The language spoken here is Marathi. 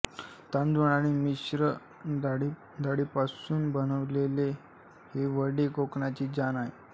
तांदूळ आणि मिश्र डाळीपासून बनवलेले हे वडे कोकणाची जान आहे